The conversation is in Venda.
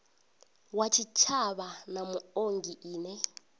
wa tshitshavha na muongi ine